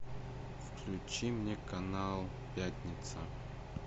включи мне канал пятница